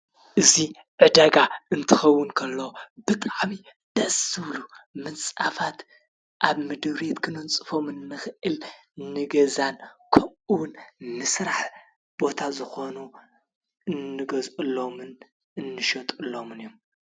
እዙይ ዕደጋ እንትኸውን ከሎ ብጥዓቢ ደስብሉ ምንጻፋት ኣብ ምድውሬት ክኖንጽፎምን ምኽእል ንገዛን ከኡውን ንሥራሕ ቦታ ዘኾኑ እንገዘሎምን እንሸጡሎምን እዩም።